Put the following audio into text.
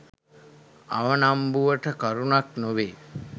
අවනම්බුවට කරුණක් නොවේ.